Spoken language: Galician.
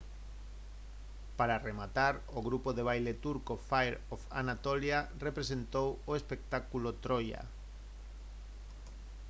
para rematar o grupo de baile turco fire of anatolia representou o espectáculo troia